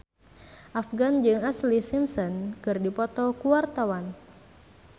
Afgan jeung Ashlee Simpson keur dipoto ku wartawan